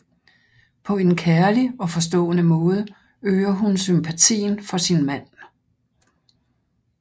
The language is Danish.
På en kærlig og forstående måde øger hun sympatien for sin mand